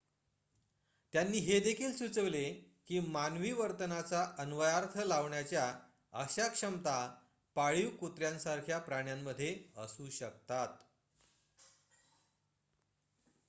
त्यांनी हे देखील सुचविले की मानवी वर्तनाचा अन्वयार्थ लावण्याच्या अशा क्षमता पाळीव कुत्र्यांसारख्या प्राण्यांमध्ये असू शकतात